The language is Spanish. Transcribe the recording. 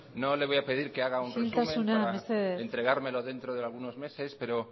isiltasuna mesedez no le voy a pedir que haga un resumen para entregármelo dentro de algunos meses pero